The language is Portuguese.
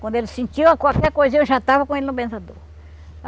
Quando ele sentia qualquer coisinha, eu já estava com ele no benzedor.